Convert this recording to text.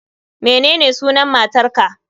Menene sunan matar ka